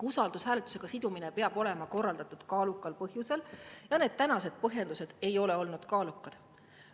Usaldushääletusega sidumine peab olema korraldatud kaalukal põhjusel ja need tänased põhjendused ei ole olnud kaalukad.